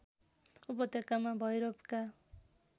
उपत्यकामा भैरवका